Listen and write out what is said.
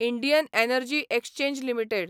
Indian energy exchange limited